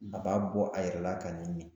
A b'a bɔ a yɛrɛ la k'a ni